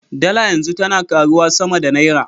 Dala yanzu tana karuwa sama da Naira.